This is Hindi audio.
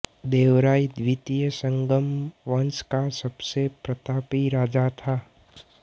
देवराय द्वितीय संगम वंश का सबसे प्रतापी राजा था